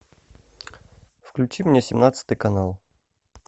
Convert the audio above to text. включи мне семнадцатый канал